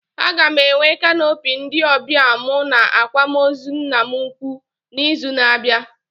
Aga m enwe canopy ndị ọbịa mụ na akwamozu nna m ukwu na izu na abịa